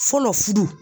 Fɔlɔ furu